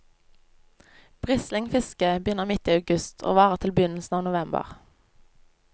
Brislingfisket begynner midt i august og varer til begynnelsen av november.